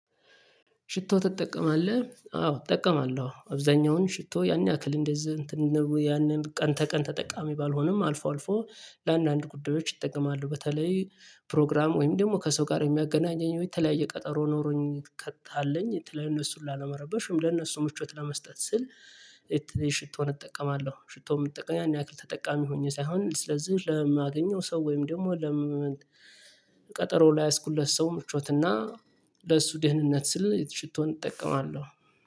ሽቶ ተጠቀማለህ አዎ እጠቀማለሁ አብዛኛውን ሽቶ ያን ያክል እንደዚህ እንትን ነበሩ ያንን ቀን ተቀን ተጠቃሚ ባልሆንም አልፎ አልፎ ለአንዳንድ ጉዳዮች ይጠቀማሉ በተለይ ፕሮግራም ወይም ደግሞ ከሰው ጋር የሚያገናኘኝ የተለያየ ቀጠሮ ኖሮኝ ከታለኝ የተለያየ እነሱን ላለመረበሽም ለእነሱ ምቾት ለመስጠት ስል የሽቶን እጠቀማለሁ። ሽቶ የሚጠቀም ያን ያክል ተጠቃሚ ሆኜ ሳይሆን ስለዚህ ለማገኘው ሰው ወይም ደግሞ ለምን? ቀጠሮ ላይ ያዝኩለት ሰው ምቾትና ለእሱ ደህንነት ስል ሽቶን እጠቀማለሁ